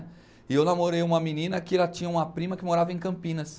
E eu namorei uma menina que ela tinha uma prima que morava em Campinas.